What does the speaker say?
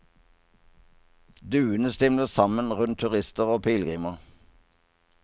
Duene stimler sammen rundt turister og pilegrimer.